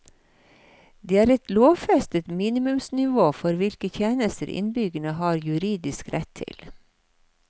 Det er et lovfestet minimumsnivå for hvilke tjenester innbyggerne har juridisk rett til.